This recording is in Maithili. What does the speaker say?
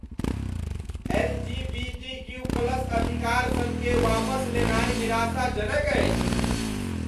एल.जी.बी.टी.क्यू प्लस अधिकारसबकेँ वापस लेनाइ निराशाजनक अछि।